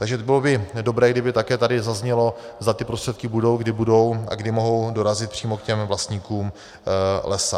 Takže bylo by dobré, kdyby také tady zaznělo, zda ty prostředky budou, kdy budou a kdy mohou dorazit přímo k těm vlastníkům lesa.